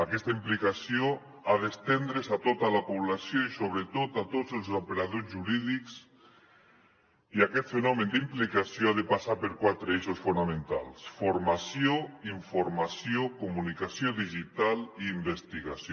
aquesta implicació ha d’estendre’s a tota la població i sobretot a tots els operadors jurídics i aquest fenomen d’implicació ha de passar per quatre eixos fonamentals formació informació comunicació digital i investigació